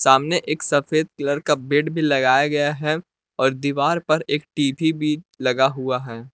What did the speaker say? सामने एक सफेद कलर का बेड भी लगाया गया है और दीवार पर एक टी_वी भी लगा हुआ है।